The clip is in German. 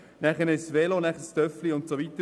Dann folgen das Velo und das Mofa und so weiter.